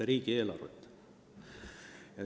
– riigieelarvet.